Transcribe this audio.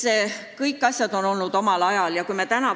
Eks kõik asjad on omal ajal teisiti olnud.